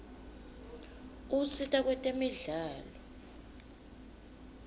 usita kwetemidlalo